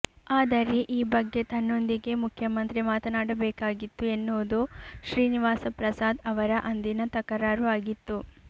ಆದರೆ ಈ ಬಗ್ಗೆ ತನ್ನೊಂದಿಗೆ ಮುಖ್ಯಮಂತ್ರಿ ಮಾತನಾಡಬೇಕಾಗಿತ್ತು ಎನ್ನುವುದು ಶ್ರೀನಿವಾಸ ಪ್ರಸಾದ್ ಅವರ ಅಂದಿನ ತಕರಾರು ಆಗಿತ್ತು